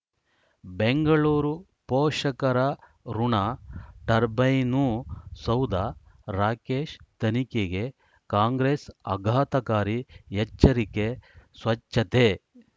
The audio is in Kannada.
ಬೆಂಗಳೂರು ಪೋಷಕರಋಣ ಟರ್ಬೈನು ಸೌಧ ರಾಕೇಶ್ ತನಿಖೆಗೆ ಕಾಂಗ್ರೆಸ್ ಅಘಾತಕಾರಿ ಎಚ್ಚರಿಕೆ ಸ್ವಚ್ಛತೆ